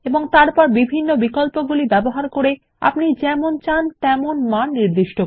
তারপর বিভিন্ন বিকল্পগুলি ব্যবহার করে আপনি যেমন চান তেমন মান নির্দিষ্ট করুন